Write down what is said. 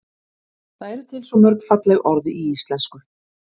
það eru til svo mörg falleg orð í íslenksu